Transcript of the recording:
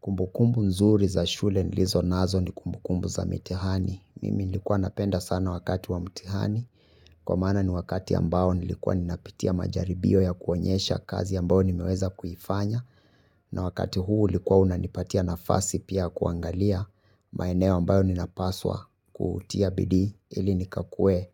Kumbukumbu nzuri za shule nilizo nazo ni kumbukumbu za mitihani. Mimi nilikuwa napenda sana wakati wa mtihani. Kwa maana ni wakati ambao nilikuwa ninapitia majaribio ya kuonyesha kazi ambao nimeweza kuifanya. Na wakati huu ulikuwa unanipatia nafasi pia kuangalia maeneo ambayo ninapaswa kutia bidi ili nikakue